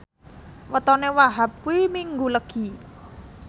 wetone Wahhab kuwi Minggu Legi